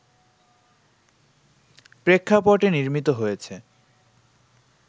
প্রেক্ষাপটে নির্মিত হয়েছে